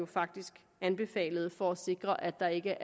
faktisk anbefalede for at sikre at der ikke